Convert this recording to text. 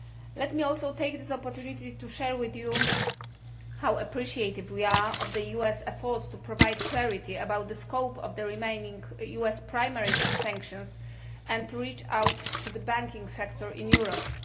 Let me also take this opportunity to share with you how appreciative we are of the US efforts to provide clarity about the scope of the remaining US primary sanctions and to reach out to the banking sector in Europe.